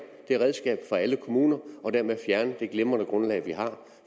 det redskab fra alle kommuner og dermed fjerne det glimrende grundlag vi har